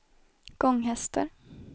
Gånghester